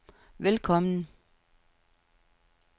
velkommen